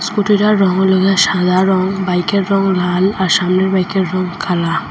স্কুটিটার রঙ হল গিয়া সাদা রঙ বাইকের রঙ লাল আর সামনের বাইকের রঙ কালা।